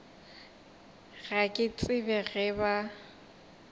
ga ke tsebe ge ba